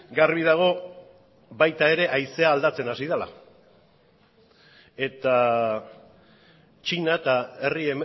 garbi dago baita ere haizea aldatzen hasi dala eta txina eta herri